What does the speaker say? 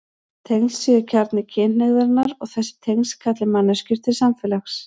Tengsl séu kjarni kynhneigðarinnar og þessi tengsl kalli manneskjur til samfélags.